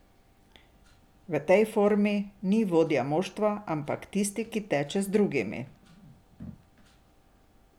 V tej formi ni vodja moštva, ampak le tisti, ki teče z drugimi.